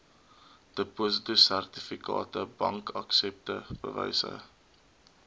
depositosertifikate bankaksepte bewyse